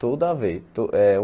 Toda vez. Eh o